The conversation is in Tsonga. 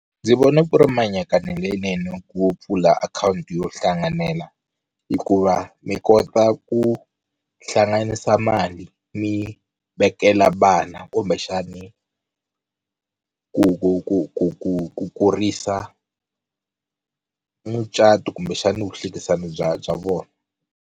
Ndzi vona ku ri mianakanyo leyinene ku pfula akhawunti yo hlanganela hikuva mi kota ku hlanganisa mali mi vekela vana kumbexani ku ku ku ku ku ku kurisa mucato kumbexani vuhlekisani bya bya vona.